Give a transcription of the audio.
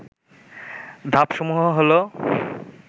ধাপসমূহ হল